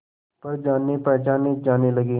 पर जानेपहचाने जाने लगे